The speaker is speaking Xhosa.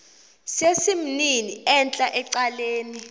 sesimnini entla ecaleni